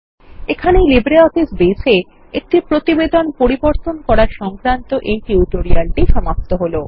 এখানেইLibreOffice Base এএকটি প্রতিবেদন পরিবর্তন করা সংক্রান্ত এই টিউটোরিয়ালটি সমাপ্ত হল